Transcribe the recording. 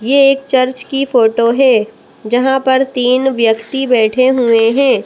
ये एक चर्च की फोटो है जहां पर तीन व्यक्ति बैठे हुए हैं।